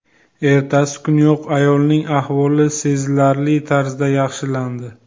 Ertasi kuniyoq ayolning ahvoli sezilarli tarzda yaxshilandi.